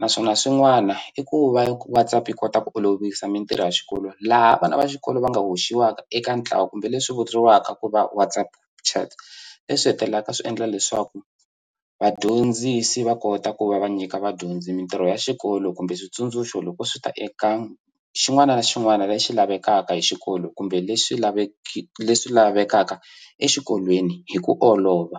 naswona swin'wana i ku va WhatsApp yi kota ku olovisa mitirho ya xikolo laha vana va xikolo va nga hoxiwaka eka ntlawa kumbe leswi vuriwaka ku va WhatsApp chat leswi hetelelaka swi endla leswaku vadyondzisi va kota ku va va nyika vadyondzi mintirho ya xikolo kumbe switsundzuxo loko swi ta eka xin'wana na xin'wana lexi lavekaka hi xikolo kumbe leswi leswi lavekaka exikolweni hi ku olova.